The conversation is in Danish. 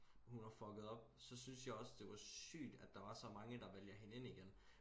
hun har fucket op så synes jeg også det var sygt at der var så mange der vælger hende ind igen